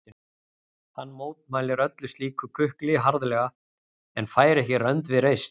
Hann mótmælir öllu slíku kukli harðlega en fær ekki rönd við reist.